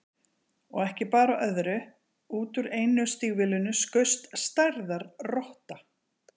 Og ekki bar á öðru, út úr einu stígvélinu skaust stærðar rotta.